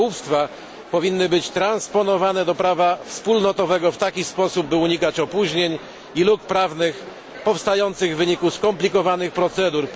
rybołówstwa powinny być transponowane do prawa wspólnotowego w taki sposób, aby unikać opóźnień i luk prawnych powstających w wyniku skomplikowanych procedur.